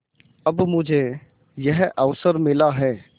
अब मुझे यह अवसर मिला है